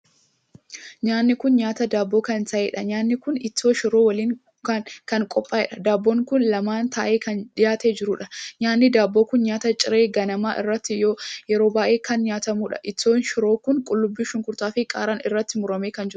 Nyaanni kun nyaataa daabboo kan taheedha. Nyaanni kun ittoo shiroo waliin kan qophaa'eera. Dabboon kun lamaan tahee kan dhiyaatee jiruudha. Nyaanni daabboo kun nyaata ciree ganama irratti yeroo baay'ee kan nyaatamuudha. Ittoon shiroo kun qullubbii shunkurtaa fi qaaraan itti murmuramee kan jiruudha.